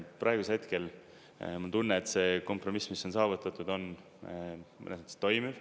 Praegusel hetkel mul on tunne, et see kompromiss, mis on saavutatud, on mõnes mõttes toimiv.